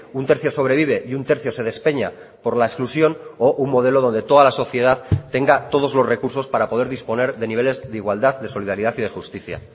un tercio sobrevive y un tercio se despeña por la exclusión o un modelo donde toda la sociedad tenga todos los recursos para poder disponer de niveles de igualdad de solidaridad y de justicia